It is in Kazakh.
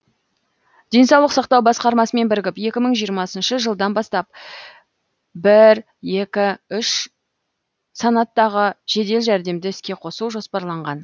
денсаулық сақтау басқармасымен бірігіп екі мың жиырмасыншы жылдан бастап бір екі үш санаттағы жедел жәрдемді іске қосу жоспарланған